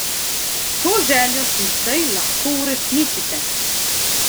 To željo si zdaj lahko uresničite!